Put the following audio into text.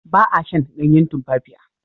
Ba a shan ganyen tumfafiya.